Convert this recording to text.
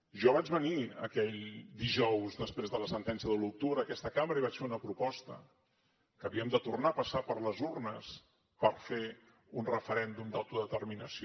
jo vaig venir aquell dijous després de la sentència de l’u d’octubre a aquesta cambra i vaig fer una proposta que havíem de tornar a passar per les urnes per fer un referèndum d’autodeterminació